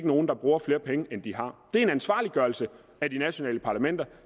nogen der bruger flere penge end de har det er en ansvarliggørelse af de nationale parlamenter